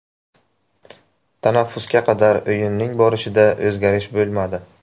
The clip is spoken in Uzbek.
Tanaffusga qadar o‘yinning borishida o‘zgarish bo‘lmadi.